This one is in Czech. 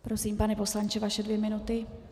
Prosím, pane poslanče, vaše dvě minuty.